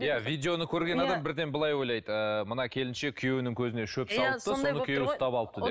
иә видеоны көрген адам бірден былай ойлайды ыыы мына келіншек күйеуінің көзіне шөп салыпты соны күйеуі ұстап алыпты деп